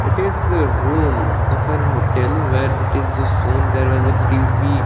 it is a room of an hotel where it is the soon there was a T_V --